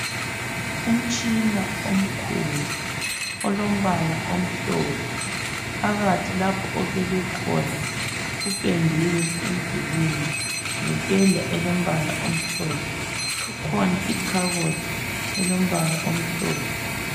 Umtshina omkhulu olombala omhlophe. Phakathi lapho obekwe khona kupendiwe emdulini ngependa elombala omhlophe. Kukhona ikhabothi elombala omhlophe.